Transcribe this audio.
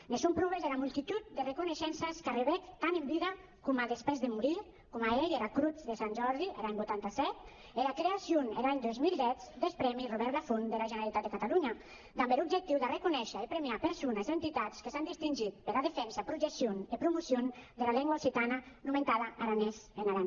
ne son pròves era multitud d’arreconeishences qu’arrebec tant en vida coma dempús de morir coma ei era crotz de sant jordi er an vuitanta set e era creacion er an dos mil deu deth prèmi robert lafont dera generalitat de catalonha damb er objectiu d’arreconéisher e premiar persones o entitats que s’an distingit pera defensa projeccion e promocion dera lengua occitana nomentada aranés en aran